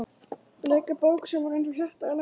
Bleika bók sem var eins og hjarta í laginu?